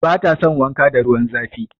Bata son wanka da ruwan zafi.